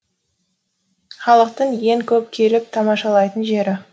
халықтың ең көп келіп тамашалайтын жері